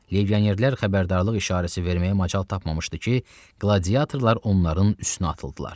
Legionerlər xəbərdarlıq işarəsi verməyə macal tapmamışdı ki, qladiatorlar onların üstünə atıldılar.